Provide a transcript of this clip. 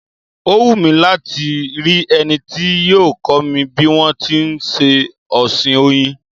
Ó wù mí láti rí ẹni tí yóò kọ́ mi bí wọn ti ń ṣe ọ̀sìn Oyin.